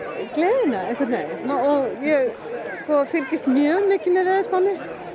gleðina einhvern veginn og ég fylgist mjög mikið með veðurspánni